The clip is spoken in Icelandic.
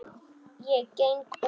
Ég geng út.